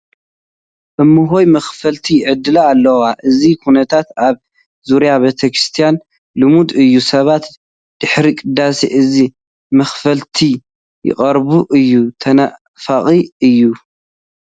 እመሆይ መኽፈልቲ ይዕድላ ኣለዋ፡፡ እዚ ኩነታት ኣብ ዙርያ ቤተ ክርስትያን ልሙድ እዩ፡፡ ሰባት ድሕሪ ቅዳሴ እዚ መኽፈልቲ ይቐርብ እዩ፡፡ ተናፋቒ እዩ፡፡